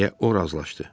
Deyə o razılaşdı.